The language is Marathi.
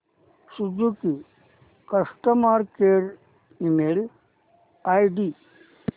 Suzuki customer care email ID